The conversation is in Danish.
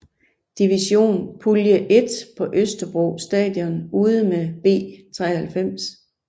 Division Pulje 1 på Østerbro Stadion ude mod B93